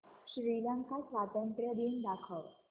श्रीलंका स्वातंत्र्य दिन दाखव